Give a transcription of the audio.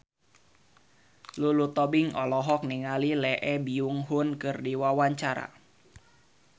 Lulu Tobing olohok ningali Lee Byung Hun keur diwawancara